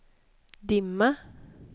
dimma